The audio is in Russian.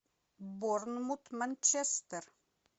борнмут манчестер